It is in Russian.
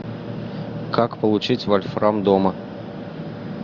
как получить вольфрам дома